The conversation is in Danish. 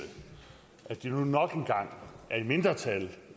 at de nu nok en gang er i mindretal